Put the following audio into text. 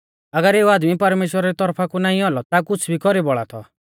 अगर एऊ आदमी परमेश्‍वरा री तौरफा कु नाईं औलौ ता कुछ़ भी नाईं कौरी बौल़ा थौ